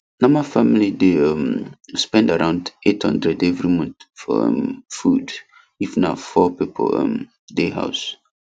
normal family dey um spend around 800 every month for um food if na four people um dey house